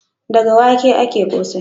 Daga wake ake ƙosai.